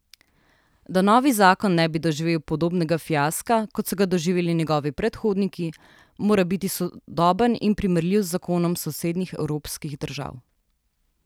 Da novi zakon ne bi doživel podobnega fiaska, kot so ga doživeli njegovi predhodniki, mora biti sodoben in primerljiv zakonom sosednjih evropskih držav.